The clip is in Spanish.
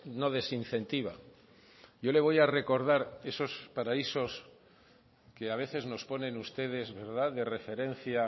no desincentiva yo le voy a recordar esos paraísos que a veces nos ponen ustedes de referencia